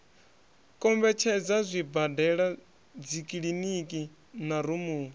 kombetshedza zwibadela dzikiliniki na rumu